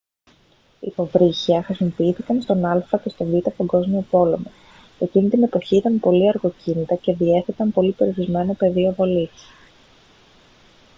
υποβρύχια χρησιμοποιήθηκαν στον α΄ και στον β΄ παγκόσμιο πόλεμο. εκείνη την εποχή ήταν πολύ αργοκίνητα και διέθεταν πολύ περιορισμένο πεδίο βολής